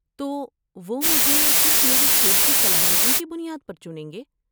تو وہ مجھے صرف میری کھیل کی صلاحتیوں کی بنیاد پر چنیں گے؟